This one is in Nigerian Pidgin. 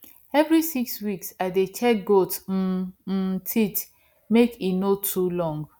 every six weeks i dey check goat um um teeth make e no too long